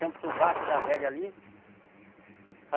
Chama o Sovaco da Velha ali.